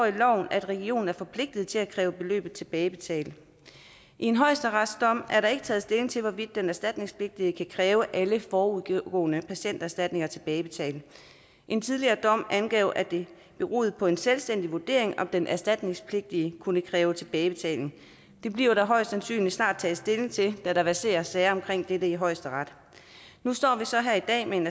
at regionen er forpligtet til at kræve beløbet tilbagebetalt i en højesteretsdom er der ikke taget stilling til hvorvidt den erstatningspligtige kan kræve alle forudgående patienterstatninger tilbagebetalt en tidligere dom angav at det beroede på en selvstændig vurdering om den erstatningspligtige kunne kræve tilbagebetaling det bliver der højst sandsynligt snart taget stilling til da der verserer sager om dette i højesteret nu står vi så her i dag med en